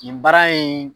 Nin baara in